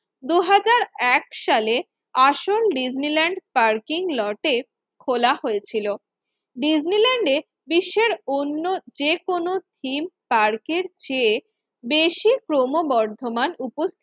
এক সালে আসল ডিজনিল্যান্ড পার্কিং লটের খোলা হয়েছিল। ডিজনিল্যান্ডে বিশ্বের অন্য যেকোন থিম পার্ক এর চেয়ে বেশি ক্রমবর্ধমান উপ